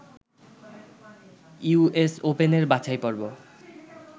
US ওপেনের বাছাইপর্ব